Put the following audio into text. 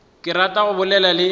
ke rata go bolela le